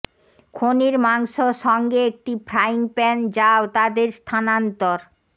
খনির মাংস সঙ্গে একটি ফ্রাইং প্যান যাও তাদের স্থানান্তর